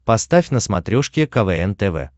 поставь на смотрешке квн тв